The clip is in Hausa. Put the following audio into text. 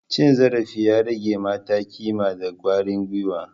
Cin zarafi ya rage mata kima da kwarin gwiwa.